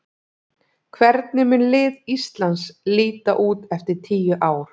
Hvernig mun lið Íslands líta út eftir tíu ár?